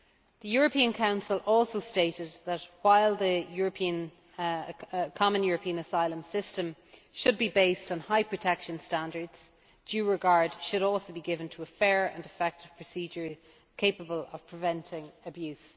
The European Council also stated that, while the common European asylum system should be based on high protection standards, due regard should also be given to a fair and effective procedure capable of preventing abuse.